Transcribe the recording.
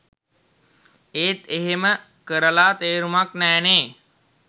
ඒත් එහෙම කරල තේරුමක් නෑනෙ